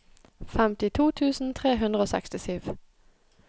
femtito tusen tre hundre og sekstisju